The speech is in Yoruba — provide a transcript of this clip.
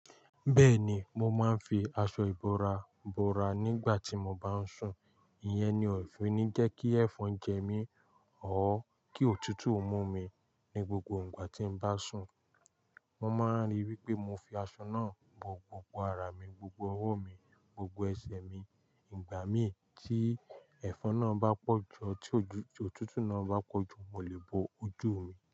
Bẹ́ẹ̀ ni, mo máa ń fi aṣọ ìbora bora nígbà tí mo bá ń sùn. Ìyẹn ni òfin ní jẹ́ kí ẹ̀fọn jẹ mí ọ́ kí òtútù mú mi ní gbogbo ìgbà tí n bá sùn. Mo máa ń ríi wípé mo fi aṣọ náà bọ gbogbo ara mi, gbogbo ọwọ́ mi, gbogbo ẹsẹ̀ mi. Ìgbà mí tí ẹ̀fọn náà bá pọ̀jù tí òtútù náà bá pọ̀jù, mo lè bọ ojú mi.